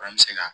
An bɛ se ka